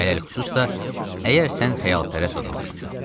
Ələlxüsus da əgər sən xəyalpərəst adamsansa.